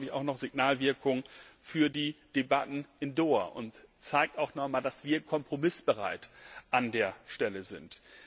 Das hat, glaube ich, auch noch Signalwirkung für die Debatten in Doha und zeigt auch noch mal, dass wir an dieser Stelle kompromissbereit